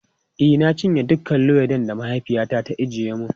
E, na cinye dukan luwaiɗin da mahaifiyata ta ajiye mun.